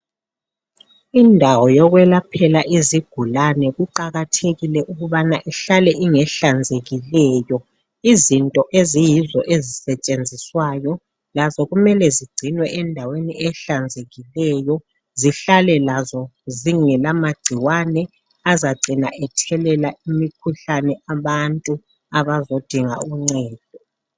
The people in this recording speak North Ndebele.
Indawo yokwelaphela izigulani kuqakathekile ukubana ihlale ingehlanzekileyo izinto eziyizo esisetshenziswa lazo kumele zigcinwe endaweni ehlanzekileyo zihlale lazo zingela magcikwane azacina ethelela imkhuhlane abantu abozodinga uncedo.